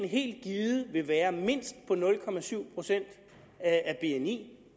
helt givet vil være mindst på nul procent af bni